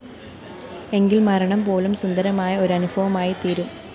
എങ്കില്‍ മരണം പോലും സുന്ദരമായ ഒരു അനുഭവമായിത്തീരും